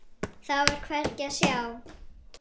Þá er hvergi að sjá.